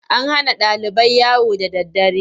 An hana ɗalibai yawo da daddare.